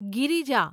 Girija